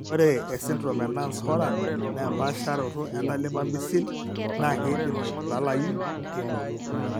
ore esindirom eNance Horan naa empaasharoto entalipa misil naa keidim aibalayu teinoto.